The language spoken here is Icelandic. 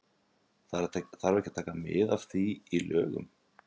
Þarf ekki að taka mið af því í lögunum?